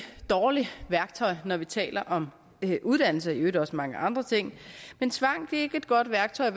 dårligt værktøj når vi taler om uddannelse og i øvrigt også mange andre ting tvang er ikke et godt værktøj